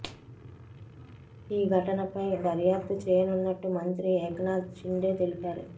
ఈ ఘటనపై దర్యాప్తు చేయనున్నట్టు మంత్రి ఏక్నాథ్ షిండే తెలిపారు